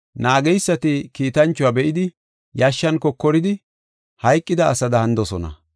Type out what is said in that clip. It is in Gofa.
Naageysati kiitanchuwa be7idi, yashshan kokoridi, hayqida asada hanidosona.